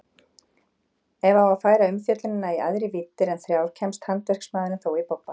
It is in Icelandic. Ef á að færa umfjöllunina í æðri víddir en þrjár kemst handverksmaðurinn þó í bobba.